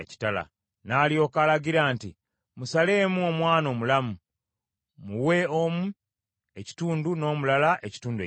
N’alyoka alagira nti, “Musaleemu omwana omulamu, muwe omu ekitundu n’omulala ekitundu ekirala.”